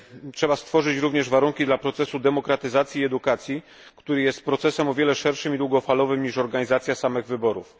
Trzeba stworzyć również warunki dla procesu demokratyzacji i edukacji, który jest procesem o wiele szerszym i długofalowym niż organizacja samych wyborów.